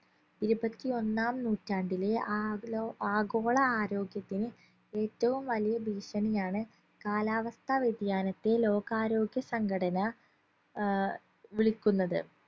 ഇരുപത്തി ഒന്നാം നൂറ്റാണ്ടിലെ ആഗലോ ആഗോള ആരോഗ്യത്തിന് ഏറ്റവും വലിയ ഭീഷണിയാണ് കാലാവസ്ഥാ വ്യതിയാനത്തെ ലോകാരോഗ്യ സംഘടന അഹ് വിളിക്കുന്നത്